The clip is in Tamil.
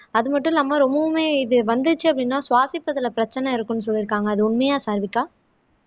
அது மட்டும் இல்லாம ரொம்பவுமே இது வந்துச்சு அப்படின்னா சுவாசிப்பதிலே பிரச்சனை இருக்கும்னு சொல்லியிருக்காங்க அது உண்மையா சாருவிக்கா